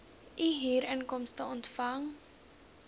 u huurinkomste ontvang